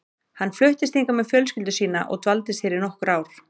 Hann fluttist hingað með fjölskyldu sína og dvaldist hér í nokkur ár.